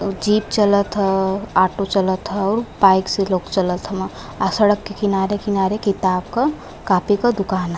और जीप चलत ह ऑटो चलत ह और बाइक से लोग चलत हवन आ सड़क के किनारे-किनारे किताब का कॉपी का दूकान ह।